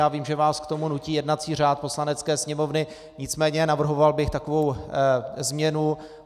Já vím, že vás k tomu nutí jednací řád Poslanecké sněmovny, nicméně navrhoval bych takovou změnu.